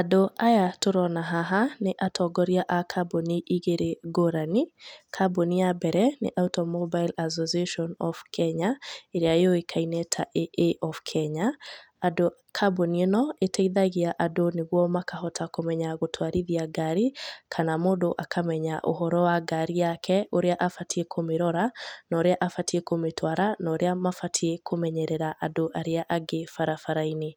Andũ aya tũrona haha nĩ atongoria a kambuni igĩrĩ ngũrani. Kambũni ya mbere nĩ Automobile Association of Kenya ĩrĩa yũĩkaine ta AA of Kenya. Kambũni ĩno ĩteithagia andũ nĩguo makahota kũmenya gũtwarithia ngari kana mũndũ akamenya ũhoro wa ngari yake, ũrĩa abatiĩ kũmĩrora na ũrĩa abatiĩ kũmĩtwara na urĩa mabatiĩ kũmenyerera andũ aria angĩ barabara-inĩ.